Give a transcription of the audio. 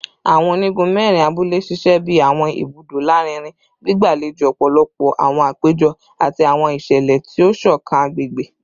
Awọn onigun mẹrin abule ṣiṣẹ bi awọn ibudo larinrin, gbigbalejo ọpọlọpọ awọn apejọ ati awọn iṣẹlẹ ti o ṣọkan agbegbe